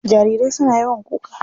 Jarirai suna yawan kuka.